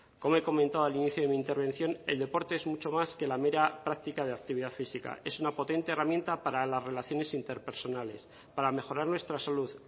como he comentado al inicio de mi intervención el deporte es mucho más que la mera práctica de actividad física es una potente herramienta para las relaciones interpersonales para mejorar nuestra salud